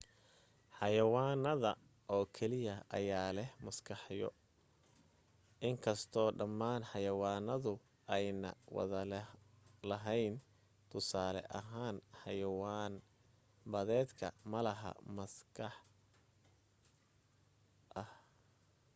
xayawaanada oo keliya ayaa leh maskaxyo inkasto dhamaan xayawaanadu ayna wada lahayn tusaale ahaan; xayawaan badeedka, malaha wax maskax ah